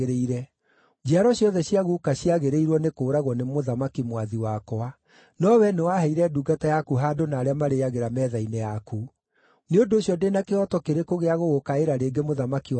Njiaro ciothe cia guka ciagĩrĩirwo nĩ kũũragwo nĩ mũthamaki mwathi wakwa. No wee nĩwaheire ndungata yaku handũ na arĩa marĩĩagĩra metha-inĩ yaku. Nĩ ũndũ ũcio ndĩ na kĩhooto kĩrĩkũ gĩa gũgũkaĩra rĩngĩ mũthamaki wakwa?”